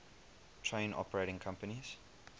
train operating companies